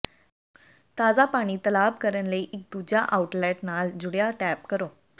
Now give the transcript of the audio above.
ਤਾਜ਼ਾ ਪਾਣੀ ਤਲਾਬ ਕਰਨ ਲਈ ਇੱਕ ਦੂਜਾ ਆਊਟਲੈੱਟ ਨਾਲ ਜੁੜਿਆ ਟੈਪ ਕਰੋ